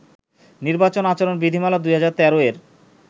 নির্বাচন আচরণ বিধিমালা-২০১৩ এর